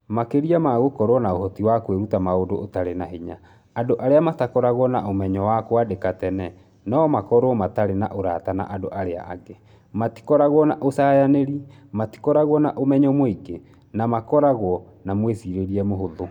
Makĩria ma gũkorũo na ũhoti wa kwĩruta maũndũ ũtarĩ na hinya, andũ arĩa matakoragwo na ũmenyo wa kwandĩka tene no makorũo matarĩ na ũrata na andũ arĩa angĩ, matikoragwo na ũcayanĩri, matikoragwo na ũmenyo mũingĩ, na makoragwo na mwĩcirĩrie mũhũthũ.